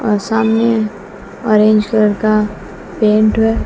और सामने orange colour का पेंट हुआ है।